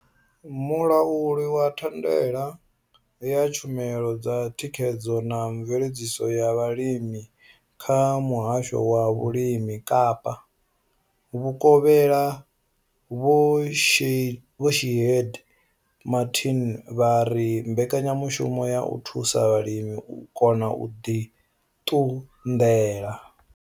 Mulauli wa thandela ya tshumelo dza thikhedzo na mveledziso ya vhulimi kha muhasho wa vhulimi Kapa vhukovhela Vho Shaheed Martin vha ri mbekanyamushumo yo thusa vhalimi u kona u ḓi ṱunḓela.